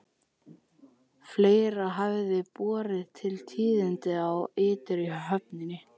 Fleira hafði borið til tíðinda á ytri höfninni.